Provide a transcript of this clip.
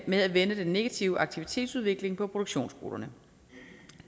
med at vende den negative aktivitetsudvikling på produktionsskolerne